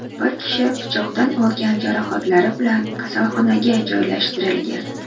Bir kishi pichoqdan olgan jarohatlari bilan kasalxonaga joylashtirilgan.